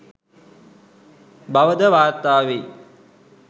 බවද වාර්ථා වෙයි.